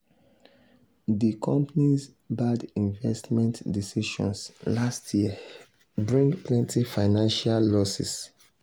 di company's bad investment decisions last year bring plenty financial losses.